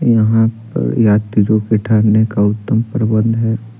यहां पर यात्री लोग के ठहरने का उत्तम प्रबंधहै।